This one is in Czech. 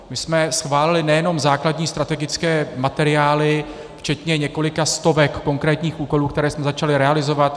My jsme schválili nejenom základní strategické materiály včetně několika stovek konkrétních úkolů, které jsme začali realizovat.